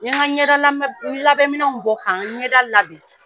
N ye n ka ɲɛda labɛnminɛw bɔ ka n ɲɛda labɛn.